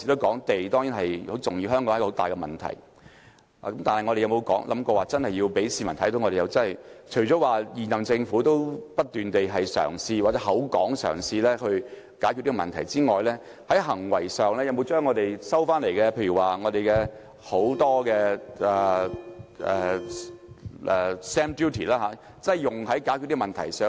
但是，我們有否想過，我們真要讓市民看到，除了現任政府不斷嘗試或口說嘗試解決這個問題外，當局在行為上有否將我們收到的很多 stamp duty 用於解決這個問題？